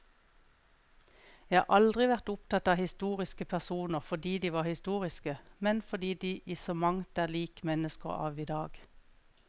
Jeg har aldri vært opptatt av historiske personer fordi de var historiske, men fordi de i så mangt er lik mennesker av i dag.